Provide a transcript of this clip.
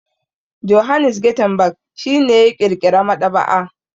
Johannes Gutenberg shi ne ya ƙirƙira maɗaba'a.